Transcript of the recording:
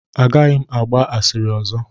Agaghị m agba asịrị ọzọ.